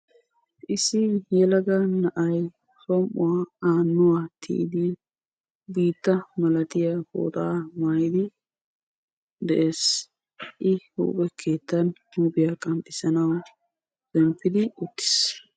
issi yelaga na"ay som'uwaa aanuani tiyid baaga binana qanxissanaw binnaana keettani uttisi.